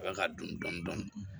A bɛ ka dun dɔni dɔni